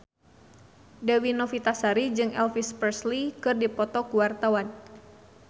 Dewi Novitasari jeung Elvis Presley keur dipoto ku wartawan